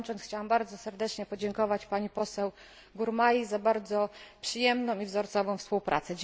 Kończąc chciałam bardzo serdecznie podziękować pani poseł Gurmai za bardzo przyjemną i wzorcową współpracę.